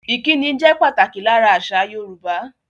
Ìkíni jẹ pàtàkì lára àṣà Yorùbá